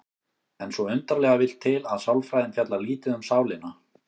En svo undarlega vill til að sálfræðin fjallar lítið um sálina.